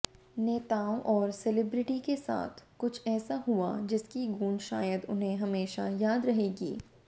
नेताओं और सेलेब्रिटी के साथ कुछ ऐसा हुआ जिसकी गूंज शायद उन्हें हमेशा याद रहेगी